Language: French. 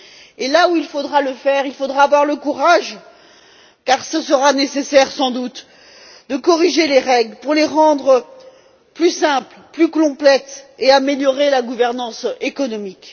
Et là où il faudra le faire, il faudra avoir le courage, car ce sera nécessaire, sans doute, de corriger les règles pour les rendre plus simples et complètes et pour améliorer la gouvernance économique.